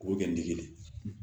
K'o kɛ n dege